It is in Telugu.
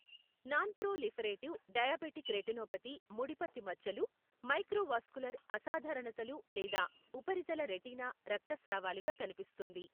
నాన్ప్రొలిఫెరేటివ్ డయాబెటిక్ రెటినోపతి ముడిపత్తి మచ్చలు, మైక్రోవాస్కులర్ అసాధారణతలు లేదా ఉపరితల రెటీనా రక్తస్రావాలుగా కనిపిస్తుంది.